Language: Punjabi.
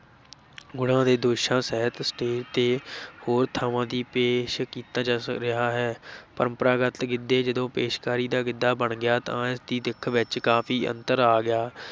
ਗੁਣਾਂ ਤੇ ਦੋਸ਼ਾਂ ਸਹਿਤ ਸਟੇਜ਼ ਤੇ ਹੋਰ ਥਾਵਾਂ ਦੀ ਪੇਸ਼ ਕੀਤਾ ਜਾ ਰਿਹਾ ਹੈ ਪਰੰਪਰਾਗਤ ਗਿੱਧੇ ਜਦੋਂ ਪੇਸ਼ਕਾਰੀ ਦਾ ਗਿੱਧਾ ਬਣ ਗਿਆ ਤਾਂ ਇਸ ਦੀ ਦਿਖ ਵਿੱਚ ਕਾਫੀ ਅੰਤਰ ਆ ਗਿਆ।